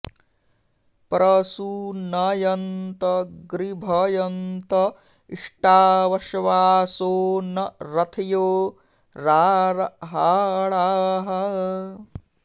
प्र सू न॑यन्त गृ॒भय॑न्त इ॒ष्टावश्वा॑सो॒ न र॒थ्यो॑ रारहा॒णाः